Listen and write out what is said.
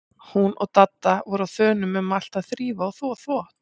Hún og Dadda voru á þönum um allt að þrífa og þvo þvott.